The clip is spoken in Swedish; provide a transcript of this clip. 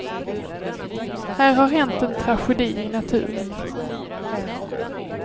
Här har hänt en tragedi i naturen.